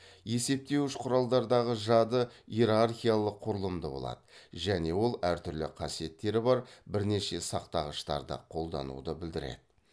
есептеуіш құралдардағы жады иерархиялық құрылымды болады және ол әртүрлі қасиеттері бар бірнеше сақтағыштарды қолдануды білдіреді